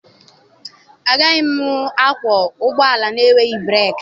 Agaghị m akwọ ụgbọ ala na-enweghị breeki.